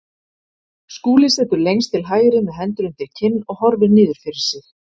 Skúli situr lengst til hægri með hendur undir kinn og horfir niður fyrir sig.